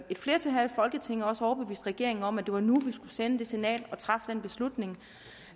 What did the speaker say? et flertal her i folketinget også at overbevise regeringen om at det var nu vi skulle sende det signal og træffe den beslutning